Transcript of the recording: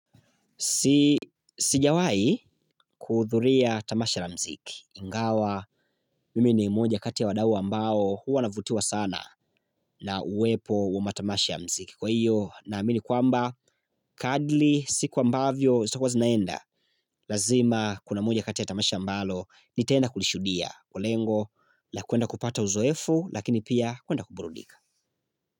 Sijawahi kuhudhuria tamasha la mziki. Ingawa mimi ni mmoja kati ya wadau mbao huwa wana vutiwa sana na uwepo wa matamasha ya mziki. Kwa hiyo, naamini kwamba, kadri siku ambavyo, siku zinaenda. Lazima kuna moja kati ya tamasha mbalo nitaenda kulishuhudia. Kwa lengo la kuenda kupata uzoefu, lakini pia kuenda kuburudika.